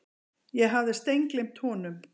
Ég hafði steingleymt honum.